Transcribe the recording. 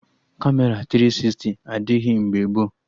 Kamera tiri sisti adịghị mgbe gboo